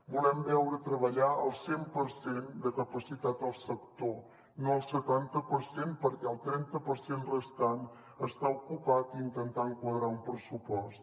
volem veure treballar el cent per cent de capacitat al sector no el setanta per cent perquè el trenta per cent restant està ocupat intentant quadrar un pressupost